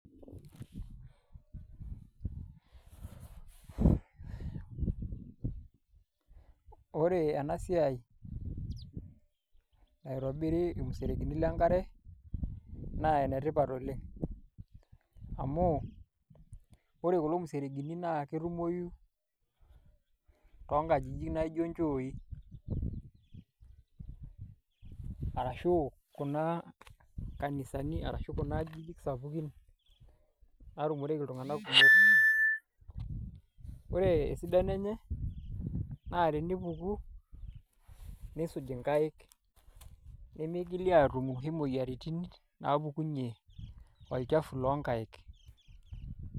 Wore ena siai naitobirri irmuserenkeni lenkare, naa enetipat oleng'. Amu, wore kulo muserenkini naa ketumoyu toonkajijik naijo inchooi, arashu Kuna kanisani arashu kuna ajijik sapukin naatumoreki il2nganak kumok. Wore esidano enye, naa tenipuku, niisuj inkaik. Nemeigili aatum inoshi moyiaritin naapukunye olchafu loonkaik.